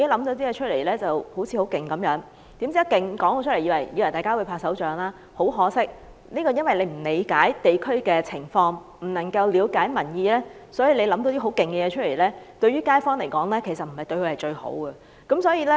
政府自以為構思很厲害，公布後會獲得大眾的掌聲，但很可惜，由於政府並不理解地區的情況，亦未能了解民意，故此，即便是很厲害的構思，對街坊來說也並非最好。